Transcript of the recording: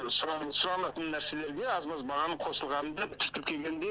сұранатын нәрселерге аз маз бағаның қосылғанын да біз тіркегенде